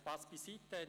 – Spass beiseite.